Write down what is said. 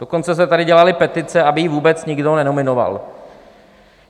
Dokonce se tady dělaly petice, aby ji vůbec nikdo nenominoval.